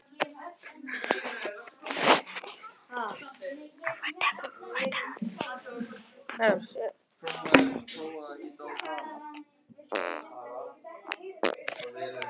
Blævar, hvað er í matinn?